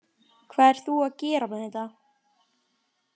Hvað ert þú að gera með þetta?